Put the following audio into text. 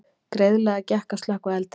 Greiðlega gekk að slökkva eldinn